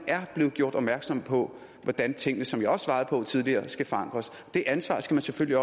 er blevet gjort opmærksom på hvordan tingene som jeg også svarede tidligere skal forandres det ansvar skal man selvfølgelig